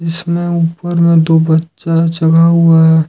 इसमें ऊपर में दो बच्चा चढ़ा हुआ है।